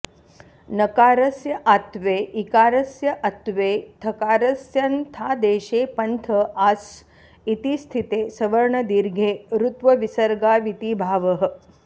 नकारस्य आत्त्वे इकारस्य अत्त्वे थकारस्य न्थादेशे पन्थ आ स् इति स्थिते सवर्णदीर्घे रुत्वविसर्गाविति भावः